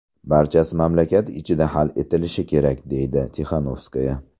Barchasi mamlakat ichida hal etilishi kerak”, deydi Tixanovskaya.